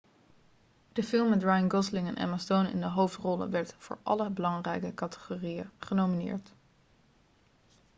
de film met ryan gosling en emma stone in de hoofdrollen werd voor alle belangrijke categorieën genomineerd